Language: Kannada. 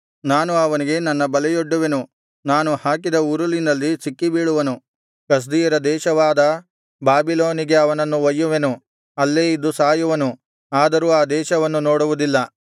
ನಾನು ಅವನಿಗೆ ನನ್ನ ಬಲೆಯೊಡ್ಡುವೆನು ನಾನು ಹಾಕಿದ ಉರುಲಿನಲ್ಲಿ ಸಿಕ್ಕಿಬೀಳುವನು ಕಸ್ದೀಯರ ದೇಶವಾದ ಬಾಬಿಲೋನಿಗೆ ಅವನನ್ನು ಒಯ್ಯುವೆನು ಅಲ್ಲೇ ಇದ್ದು ಸಾಯುವನು ಆದರೂ ಆ ದೇಶವನ್ನು ನೋಡುವುದಿಲ್ಲ